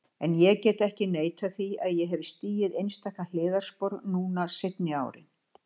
En ég get ekki neitað því að ég hef stigið einstaka hliðarspor núna seinni árin.